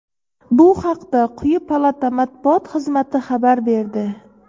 Bu haqda quyi palata Matbuot xizmati xabar berdi.